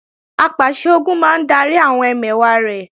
Apàṣẹ-Ogun máa ń darí àwọn ẹmẹ̀wà rẹ̀